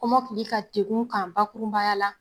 Kɔmɔkili ka degun kan bakurunbaya la